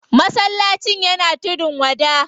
Masallacin yana tudun wada.